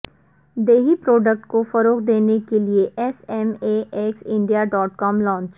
دیہی پروڈکٹ کو فروغ دینے کے لئے S M E X India dot com launch